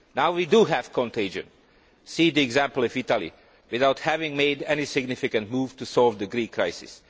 Now we do have contagion see the example of Italy without having made any significant move to solve the Greek crisis.